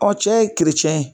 cɛ ye kerecɛn ye.